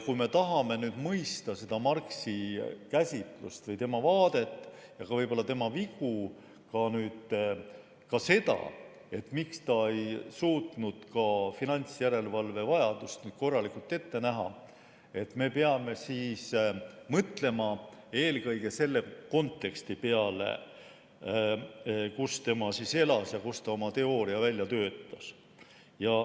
Kui me tahame mõista seda Marxi käsitlust või tema vaadet ja võib-olla ka tema vigu ning seda, miks ta ei suutnud finantsjärelevalve vajadust korralikult ette näha, siis me peame mõtlema eelkõige selle konteksti peale, kus ta elas ja kus ta oma teooria välja töötas.